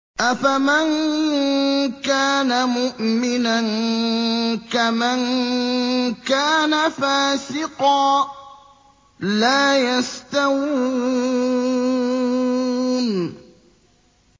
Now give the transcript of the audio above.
أَفَمَن كَانَ مُؤْمِنًا كَمَن كَانَ فَاسِقًا ۚ لَّا يَسْتَوُونَ